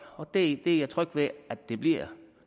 og det er jeg tryg ved at det bliver